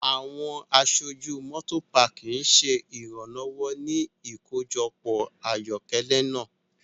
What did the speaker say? Awọn aṣoju Motopaaki ṣe iranlọwọ ni ikojọpọ ayokele naa